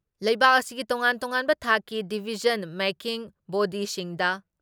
ꯂꯩꯕꯥꯛ ꯑꯁꯤꯒꯤ ꯇꯣꯉꯥꯟ ꯇꯣꯉꯥꯟꯕ ꯊꯥꯛꯀꯤ ꯗꯤꯚꯤꯖꯟ ꯃꯦꯛꯀꯤꯡ ꯕꯣꯗꯤꯁꯤꯡꯗ